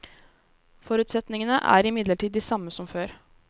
Forutsetningene er imidlertid de samme som før.